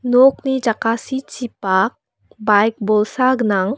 nokni jakasichipak baik bolsa gnang.